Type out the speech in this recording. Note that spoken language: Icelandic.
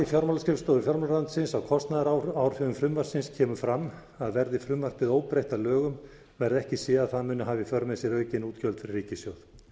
fjármálaskrifstofu fjármálaráðuneytisins á kostnaðaráhrifum frumvarpsins kemur fram að verði frumvarpið óbreytt að lögum verði ekki séð að það muni hafa í för með sér aukin útgjöld fyrir ríkissjóð